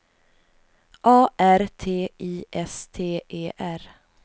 A R T I S T E R